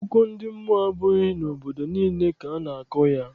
Akụkọ ndị mmụọ abụghị n'obodo niile ka a na-akọ ya.